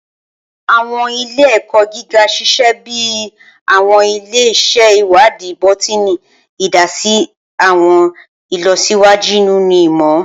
Awọn ile-ẹkọ giga ṣiṣẹ bi awọn ile-iṣẹ iwadii bọtini, idasi si awọn ilọsiwaju ninu imọ.